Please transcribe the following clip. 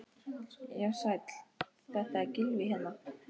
Já, sæll, þetta er Gylfi hérna.